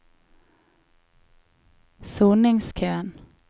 soningskøen